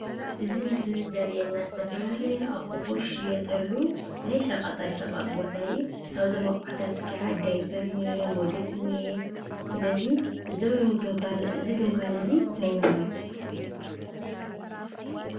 እዚ ምስሊ እዚ ዘሪአና ዝተፈላለዩ ኣቑሑ ዝሽየጠሉ ናይ ሸቀጣሸቀጥ ቦታ እዩ ።ካብዞም ኣቑሑታት ከዓ ዳይፐር እኒኤ፣ ሞዴስ እኒኣ። ስለዚ እዚ ድንኳን እዚ ናይ መን እዩ ?